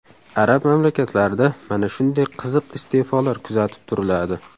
Arab mamlakatlarida mana shunday qiziq iste’folar kuzatib turiladi.